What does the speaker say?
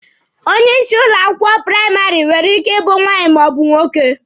Onye isi ụlọ akwụkwọ praịmarị nwere ike ịbụ nwaanyị ma ọ bu nwoke.